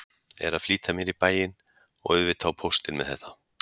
Er að flýta mér í bæinn og auðvitað á póstinn með þetta.